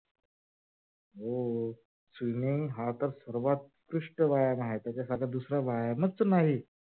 हो swimming हा तर सर्वोत्कृष्ट व्यायाम आहे. त्याच्यासारखा दुसरा व्यायामच नाही.